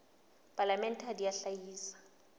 palamente ha di a hlahisa